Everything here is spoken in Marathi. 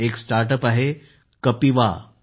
एक स्टार्टअप आहे कपिवा कापिवा